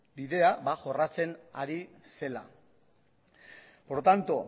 bidea jorratzen ari zela por lo tanto